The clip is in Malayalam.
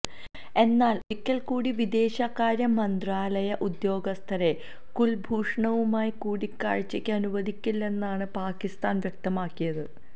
എന്നാൽ ഒരിക്കൽ കൂടി വിദേശകാര്യ മന്ത്രാലയ ഉദ്യോഗസ്ഥരെ കുൽഭൂഷണുമായി കൂടികാഴ്ചയ്ക്ക് അനുവദിക്കില്ലെന്നാണ് പാകിസ്താൻ വ്യക്തമാക്കിയത്